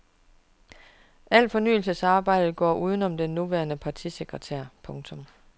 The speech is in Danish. Al fornyelsesarbejdet går uden om den nuværende partisekretær. punktum